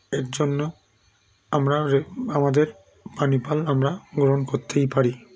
এর জন্য আমরা রে আমাদের পানি ফল আমরা গ্ৰহন করতেই পারি